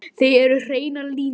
Það eru hreinar línur.